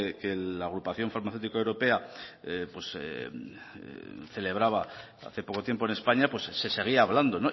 que la agrupación farmacéutico europea celebraba hace poco tiempo en españa se seguía hablando